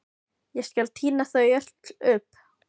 Ég skal tína þau öll upp.